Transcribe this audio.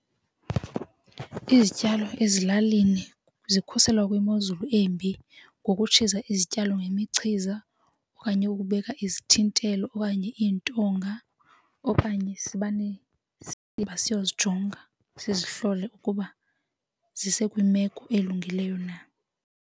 Izityalo ezilalini zikhuselwa kwimozulu embi ngokutshiza izityalo ngemichiza okanye ukubeka izithintelo okanye iintonga okanye simane siyojonga sizihlole ukuba zise kwimeko elungileyo na.